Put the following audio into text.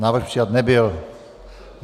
Návrh přijat nebyl.